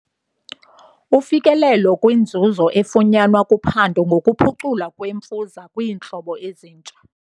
Ufikelelo kwinzuzo efunyanwa kuphando ngokuphuculwa kwemfuza kwiintlobo ezintsha.